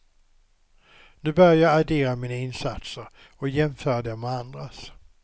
Nu börjar jag addera mina insatser och jämföra dem med andras.